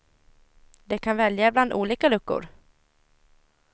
De kan välja bland olika luckor.